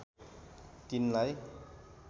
तिनलाई